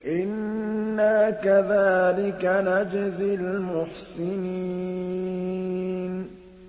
إِنَّا كَذَٰلِكَ نَجْزِي الْمُحْسِنِينَ